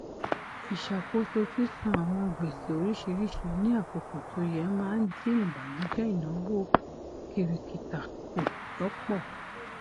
ìṣàkóso sísán àwọn gbèsè oríṣìíríṣìí ní àkókò tó yẹ máa ń dín ìbànújẹ ináwó kiríkítà kù lọpọ